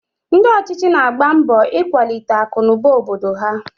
Ndị ọchịchị na-agba mbọ ikwalite akụnụba obodo ha